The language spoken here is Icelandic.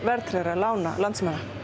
verðtryggð lán landsmanna